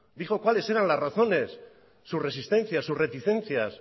dijo cuáles fueron sus razones sus resistencias sus reticencias